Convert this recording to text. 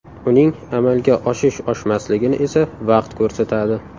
Uning amalga oshish-oshmasligini esa vaqt ko‘rsatadi.